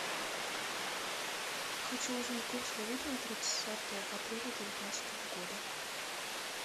хочу узнать курс валюты на тридцатое апреля девятнадцатого года